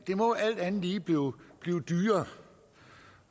må alt andet lige blive dyrere